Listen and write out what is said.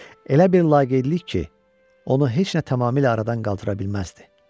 Elə bir laqeydlik ki, onu heç nə tamamilə aradan qaldıra bilməzdi.